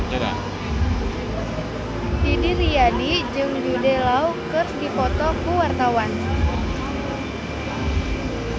Didi Riyadi jeung Jude Law keur dipoto ku wartawan